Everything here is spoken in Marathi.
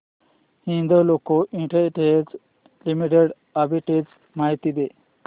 हिंदाल्को इंडस्ट्रीज लिमिटेड आर्बिट्रेज माहिती दे